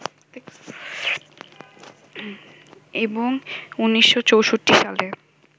এবং ১৯৬৪ সালে